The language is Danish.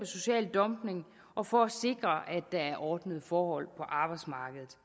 social dumping og for at sikre at der er ordnede forhold på arbejdsmarkedet